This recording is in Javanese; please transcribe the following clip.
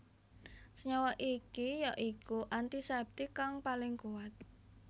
Senyawa iki ya iku antiseptik kang paling kuwat